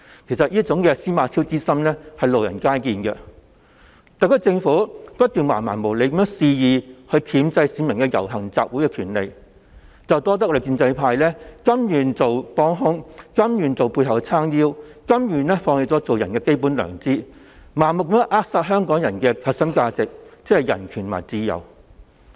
其實，"司馬昭之心，路人皆見"，特區政府不斷橫蠻無理地肆意箝制市民的遊行集會權利。這要多得立法會的建制派甘願成為幫兇，甘願在政府背後為其撐腰，甘願放棄作為人的基本良知，盲目地扼殺香港的核心價值，即人權和自由。